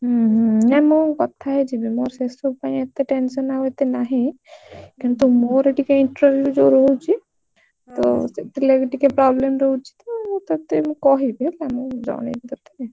ହୁଁ ହୁଁ ନାଇଁ ମୁଁ କଥା ହେଇଯିବି ମୋର ସେ ସବୁ ପାଇଁ ଏତେ tension ଆଉ ଏତେ ନା କିନ୍ତୁ ମୋର ଟିକେ interview ଯଉ ରହୁଛି ତ ସେଥି ଲାଗି ଟିକେ problem ରହୁଛି ତ ମୁଁ ତତେ କହିବି ହେଲା ଜଣେଇବି ତତେ।